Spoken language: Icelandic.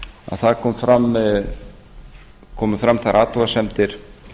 það komu fram þær athugasemdir